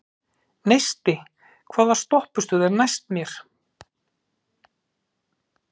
Neisti, hvaða stoppistöð er næst mér?